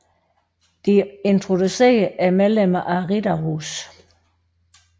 De introducerede er medlemmer af Riddarhuset